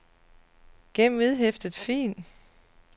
gem vedhæftet fil